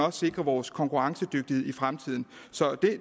og sikrer vores konkurrencedygtighed i fremtiden så det